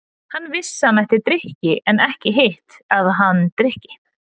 Hann vissi að hann drykki- en ekki hitt, að hann drykki.